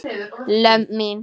lömb mín.